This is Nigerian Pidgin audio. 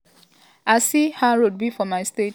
i see how road be for my state."